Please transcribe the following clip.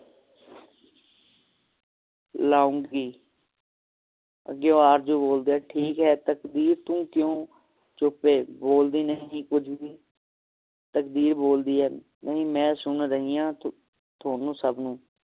ਲਾਉਂਗੀ ਅੱਗੋਂ ਆਰਜ਼ੂ ਬੋਲਦੀ ਹੈ ਠੀਕ ਹੈ ਤਕਦੀਰ ਤੂੰ ਕਿਊ ਚੁੱਪ ਏ ਬੋਲਦੀ ਨਹੀਂ ਕੁਜ ਵੀ ਤਕਦੀਰ ਬੋਲਦੀ ਹੈ ਨਹੀਂ ਮੈਂ ਸੁਨ ਰਹੀ ਆ ਥੋਨੂੰ ਸਭ ਨੂੰ